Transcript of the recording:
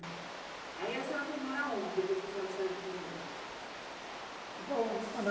Aí a senhora foi morar onde, depois que a senhora saiu de Moema?